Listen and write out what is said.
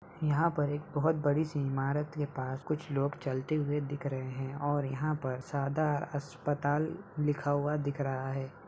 यहां पर एक बोहोत बड़ी सी इमारत के पास कुछ लोग चलते हुए दिख रहे हैं और यहां पर सादा अस्पताल लिखा हुआ दिख रहा है।